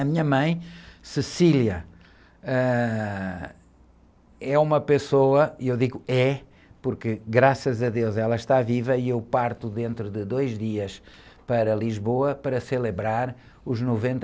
A minha mãe, ãh, é uma pessoa, e eu digo é, porque, graças a deus, ela está viva e eu parto dentro de dois dias para Lisboa para celebrar os noventa...